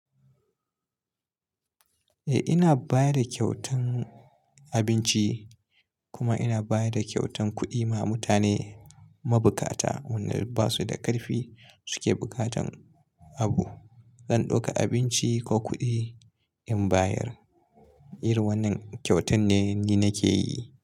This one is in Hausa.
Eh ina baya da kyautan abinci kuma ina baya da kyautan kuɗi ma mutane mabukata wanda basu da ƙarfi suke buƙatan abu. Zan ɗauka abinci ko kuɗi in bayar. Irin wannan kyautan ne ni nake yi.